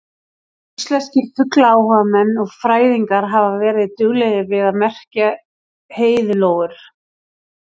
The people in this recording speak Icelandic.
Íslenskir fuglaáhugamenn og fræðingar hafa verið duglegir við að merkja heiðlóur.